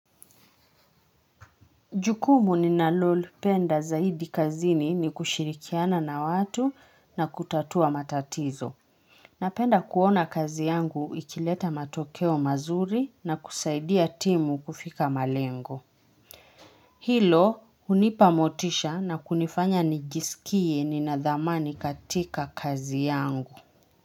Jukumu ninalolipenda zaidi kazini ni, kushirikiana na watu na kutatua matatizo. Napenda kuona kazi yangu ikileta matokeo mazuri na kusaidia timu kufika malengo. Hilo hunipa motisha na kunifanya nijisikie nina dhamani katika kazi yangu.